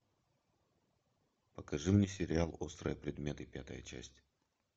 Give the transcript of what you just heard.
покажи мне сериал острые предметы пятая часть